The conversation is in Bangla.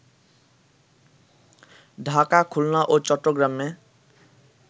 ঢাকা, খুলনা ও চট্টগ্রামে